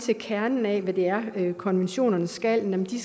ved kernen af hvad det er konventionerne skal nemlig